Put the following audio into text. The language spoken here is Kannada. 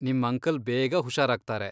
ನಿಮ್ ಅಂಕಲ್ ಬೇಗ ಹುಷಾರಾಗ್ತಾರೆ.